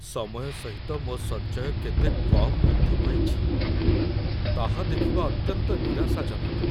ସମୟ ସହିତ ମୋ ସଞ୍ଚୟ କେତେ କମ୍ ବୃଦ୍ଧି ପାଇଛି, ତାହା ଦେଖିବା ଅତ୍ୟନ୍ତ ନିରାଶାଜନକ